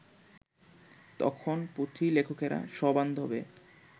তখন পুঁথিলেখকেরা সবান্ধবে